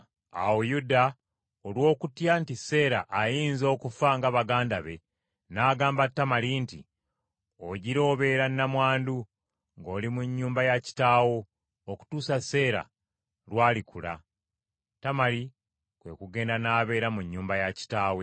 Awo Yuda olw’okutya nti Seera ayinza okufa nga baganda be, n’agamba Tamali nti, “Ogira obeera nnamwandu, ng’oli mu nnyumba ya kitaawo okutuusa Seera lw’alikula.” Tamali kwe kugenda n’abeera mu nnyumba ya kitaawe.